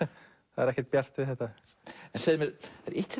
það er ekkert bjart við þetta segðu